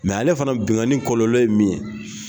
ale fana bingani kɔlɔ ye min ye.